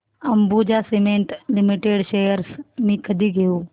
Ambuja cement limited shares मी कधी घेऊ